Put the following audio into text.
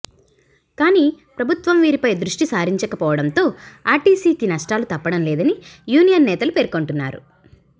కానీ ప్రభుత్వం వీటిపై దృష్టిసారించక పోవటంతో ఆర్టీసీకి నష్టాలు తప్పడం లేదని యూనియన్ నేతలు పేర్కొంటున్నారు